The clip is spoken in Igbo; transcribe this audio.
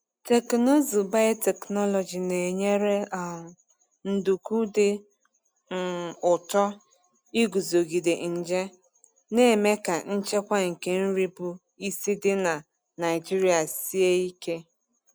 Teknụzụ biotechnology na-enyere um nduku dị um ụtọ iguzogide nje, na-eme ka nchekwa nke nri bụ isi dị na Naijiria sie ike.